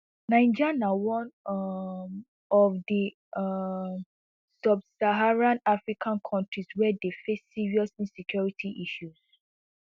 niger na one um of di um subsaharan african kontris wey dey face serious insecurity issues